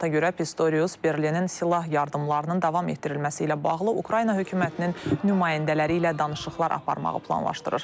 Məlumata görə, Pistorius Berlinin silah yardımlarının davam etdirilməsi ilə bağlı Ukrayna hökumətinin nümayəndələri ilə danışıqlar aparmağı planlaşdırır.